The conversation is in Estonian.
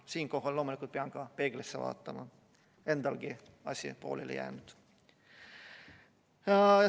Siinkohal pean loomulikult ka ise peeglisse vaatama, endalgi on see pooleli jäänud.